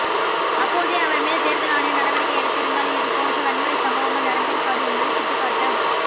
அப்போதே அவர் மீது தேர்தல் ஆணையம் நடவடிக்கை எடுத்திருந்தால் இதுபோன்ற வன்முறைச் சம்பவங்கள் நடந்திருக்காது என்பதை சுட்டிக்காட்ட